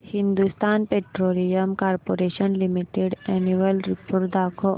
Hindustan petroleum corporation limited annual report दाखव